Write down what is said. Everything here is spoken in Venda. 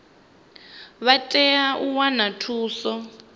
vha tea u wana thuso